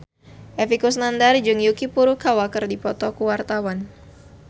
Epy Kusnandar jeung Yuki Furukawa keur dipoto ku wartawan